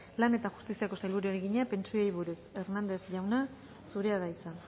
lan eta justiziako sailburuari egina pentsioei buruz